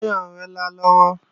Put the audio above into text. Táyọ̀ ń rinlá lọ́wọ́